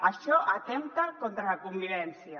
això atempta contra la convivència